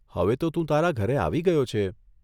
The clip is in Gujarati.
હવે તો તું તારા ઘરે આવી ગયો છે !